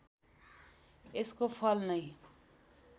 यसको फल नै